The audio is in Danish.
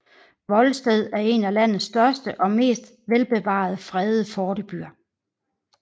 Volsted er en af landets største og mest velbevarede fredede fortebyer